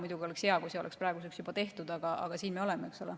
Muidugi oleks hea, kui see oleks praeguseks juba tehtud, aga siin me oleme, eks ole.